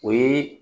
O ye